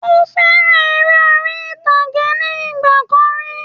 Ó fẹ́ràn eré orí ìtàgé ní ìgbà kan rí